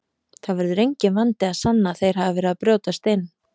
Það verður enginn vandi að sanna að þeir hafi verið að brjótast inn.